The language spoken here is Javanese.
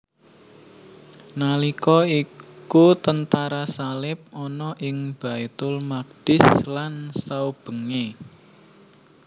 Nalika iku tentara salib ana ing Baitul Maqdis lan saubengé